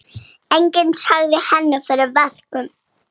Enginn sagði henni fyrir verkum.